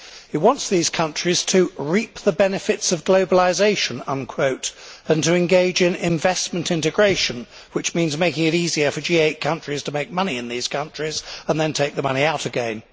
It wants these countries to reap the benefits of globalisation' and to engage in investment integration', which means making it easier for G8 countries to make money in these countries and then take the money out again.